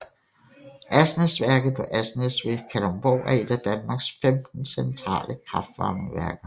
Asnæsværket på Asnæs ved Kalundborg er et af Danmarks 15 centrale kraftvarmeværker